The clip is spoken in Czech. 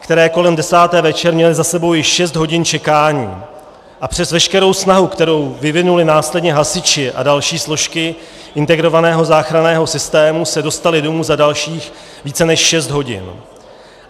které kolem desáté večer měly za sebou již šest hodin čekání, a přes veškerou snahu, kterou vyvinuli následně hasiči a další složky integrovaného záchranného systému, se dostali domů za dalších více než šest hodin.